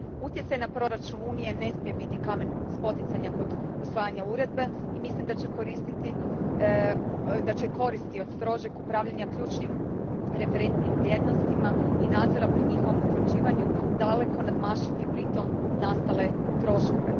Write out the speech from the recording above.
Utjecaj na proračun Unije ne smije biti kamen spoticanja kod usvajanja uredbe i mislim da će koristi od strožeg upravljanja ključnim referentnim vrijednostima i nadzora pri njihovom utvrđivanju daleko nadmašiti pri tom nastale troškove.